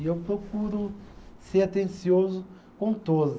E eu procuro ser atencioso com todas.